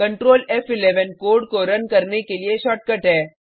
control फ़11 code को run करने के लिए शॉर्टकट है